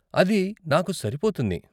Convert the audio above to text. అది నాకు సరిపోతుంది.